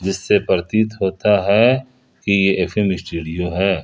जिससे प्रतीत होता है कि यह एफ_एम स्टूडियो है।